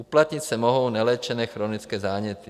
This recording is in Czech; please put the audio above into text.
Uplatnit se mohou neléčené chronické záněty.